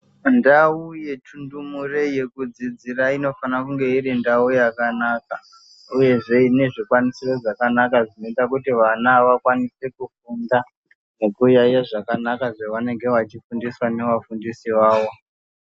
Ndau yetundumure yekudzidzira inofanire kunge irindau yakanaka uyezve inezvikwanisiro zvakanaka zvinoite kuti vakwanise kufunda nekuyaiye zvakanaka zvevanenge vechifundiswa nevafundisi vavo.